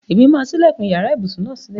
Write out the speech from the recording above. Èmi máa sílẹ̀kùn iyàrá ibùsùn náà sílè.